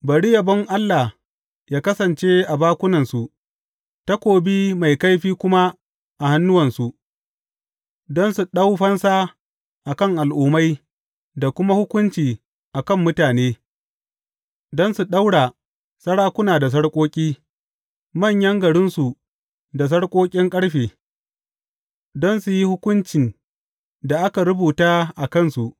Bari yabon Allah yă kasance a bakunansu takobi mai kaifi kuma a hannuwansu, don su ɗau fansa a kan al’ummai da kuma hukunci a kan mutane, don su ɗaura sarakuna da sarƙoƙi, manyan garinsu da sarƙoƙin ƙarfe, don su yi hukuncin da aka rubuta a kansu.